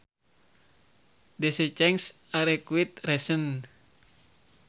These changes are quite recent